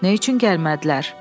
Nə üçün gəlmədilər?